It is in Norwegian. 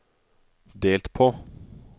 delt på